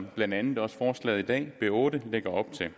blandt andet også forslaget her i dag b otte lægger op til at